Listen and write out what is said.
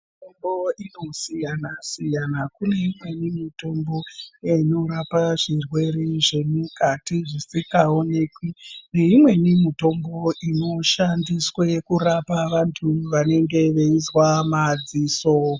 Mitombo unosiyana-siyana, kune imweni mitombo inorape zvirwere zvemukati zvisingaonekwi neimweni mitombo inoshandiswe kurapa vantu vanenge veizwa maziso.